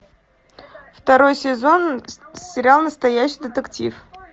второй сезон сериал настоящий детектив